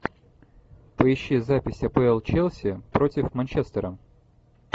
поищи запись апл челси против манчестера